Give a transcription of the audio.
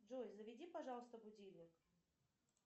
джой заведи пожалуйста будильник